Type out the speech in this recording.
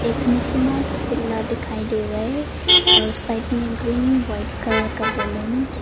Mickey Mouse खुला दिखाई दे रहा है और साइड में ग्रीन वाइट कलर का बैलून --